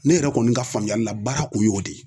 Ne yɛrɛ kɔni ka faamuyali la baara kun y'o de ye